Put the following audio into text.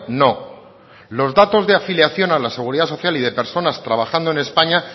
no los datos de afiliación a la seguridad social y de personas trabajando en españa